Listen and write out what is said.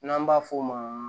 N'an b'a f'o ma